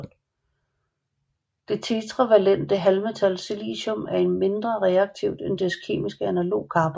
Det tetravalente halvmetal silicium er mindre reaktivt end dets kemiske analog carbon